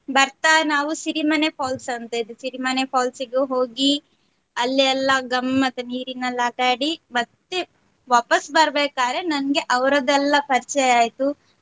ಬರ್ತಾ ನಾವು ಸಿರಿಮನೆ falls ಅಂತಾ ಇದೆ ಸಿರಿಮನೆ falls ಗೂ ಹೋಗಿ ಅಲ್ಲೆ ಎಲ್ಲಾ ಗಮ್ಮತ್ ನೀರಿನಲ್ಲಿ ಆಟ ಆಡಿ ಮತ್ತೆ ವಾಪಸ್ ಬರಬೇಕಾದರೇ ನನ್ಗೆ ಅವರದೆಲ್ಲ ಪರಿಚಯ ಆಯ್ತು.